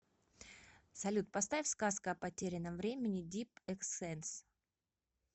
салют поставь сказка о потерянном времени дип экс сэнс